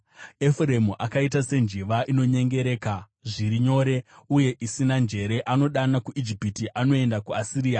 “Efuremu akaita senjiva, inonyengereka zviri nyore uye isina njere, zvino anodana kuIjipiti, mushure anoenda kuAsiria.